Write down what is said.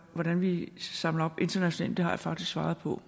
hvordan vi samler op internationalt men det har jeg faktisk svaret på